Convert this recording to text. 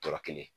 Tɔɔrɔ kelen